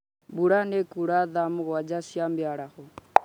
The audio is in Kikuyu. mbura nĩ ĩkũra thaa mũgwanja cia mĩaraho